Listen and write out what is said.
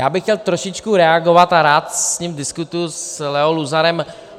Já bych chtěl trošičku reagovat, a rád s ním diskutuji, s Leo Luzarem.